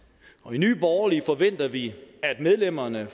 i nye borgerlige forventer vi at medlemmerne af